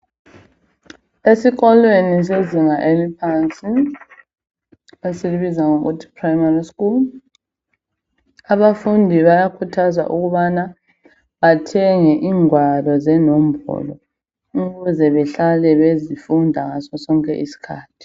Esikolweni sezinga eliphansi esilibiza ngokuthi primary school abafundi bayakhuthazwa ukubana bathenge ingwalo zenombolo ukuze behlale bezofunda ngasosonke isikhathi.